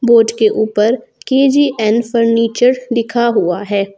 Board के ऊपर K G N furniture लिखा हुआ है।